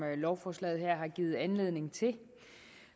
lovforslaget her har givet anledning til